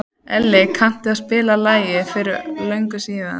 Elli, kanntu að spila lagið „Fyrir löngu síðan“?